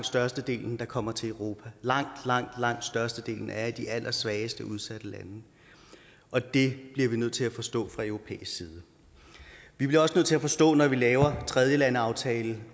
størstedelen der kommer til europa langt langt størstedelen er i de allersvageste udsatte lande og det bliver vi nødt til at forstå fra europæisk side vi bliver også nødt til at forstå når vi laver tredjelandeaftaler